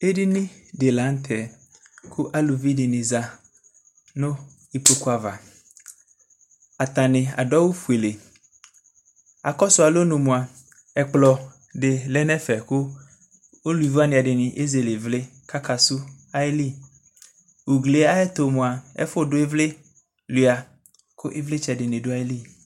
Edini di la nʋ tɛ kʋ aluvi dini za nʋ ikpokʋ ava Atani adʋ awʋ fuele Akɔsʋ alɔnʋ moa, ɛkplɔ di lɛ nʋ ɛfɛ kʋ aluvi wani ɛdini ezele ivli kakakɔsʋ ayili Ugli yɛ ayɛtʋ moa, ɛfʋdʋ ivli suia kʋ ivlitsɛ di ni dʋ ayili